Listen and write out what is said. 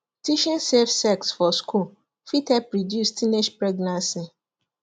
teaching safe sex for school fit help reduce teenage pregnancy